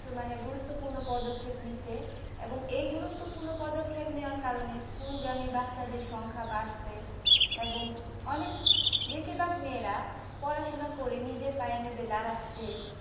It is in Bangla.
মানে গুরুত্বপূর্ণ পদক্ষেপ নিছে এবং এই গুরুত্বপূর্ণ পদক্ষেপ নেওয়ার কারণে স্কুলগামী বাচ্চাদের সংখ্যা বাড়ছে এবং অনেক বেশিরভাগ মেয়েরা পড়াশোনা করে নিজের পায়ে নিজে দাঁড়াচ্ছে